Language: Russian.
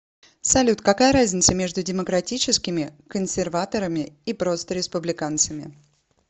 салют какая разница между демократическими консерваторами и просто республиканцами